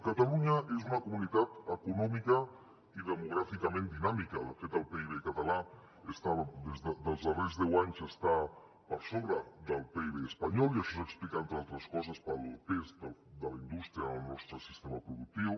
catalunya és una comunitat econòmicament i demogràficament dinàmica de fet el pib català dels darrers deu anys està per sobre del pib espanyol i això s’explica entre altres coses pel pes de la indústria en el nostre sistema productiu